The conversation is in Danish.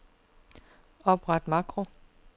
Opret makro.